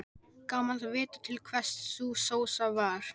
Gaman að vita til hvers sú sósa var.